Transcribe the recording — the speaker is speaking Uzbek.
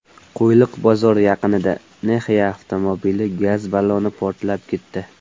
Qo‘yliq bozori yaqinida Nexia avtomobili gaz balloni portlab ketdi.